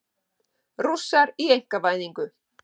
Rússar í einkavæðingu